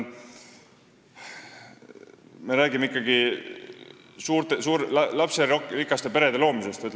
Me räägime ikkagi lasterikaste perede loomisest.